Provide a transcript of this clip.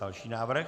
Další návrh.